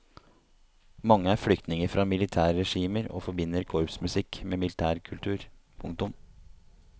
Mange er flyktninger fra militærregimer og forbinder korpsmusikk med militær kultur. punktum